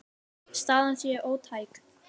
Staðan sé ótæk.